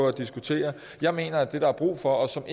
at diskutere jeg mener at det der er brug for som